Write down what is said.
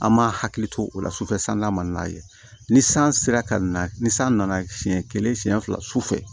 An m'a hakili to o la sufɛ san n'a man n'a ye ni san sera ka na ni san nana siɲɛ kelen siɲɛ fila su fɛ